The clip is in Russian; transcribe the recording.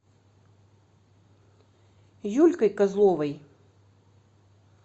юлькой козловой